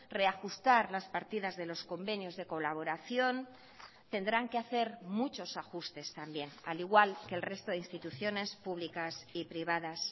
reajustar las partidas de los convenios de colaboración tendrán que hacer muchos ajustes también al igual que el resto de instituciones públicas y privadas